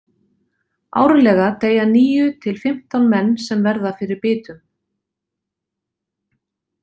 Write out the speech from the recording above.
Árlega deyja níu til fimmtán menn sem verða fyrir bitum.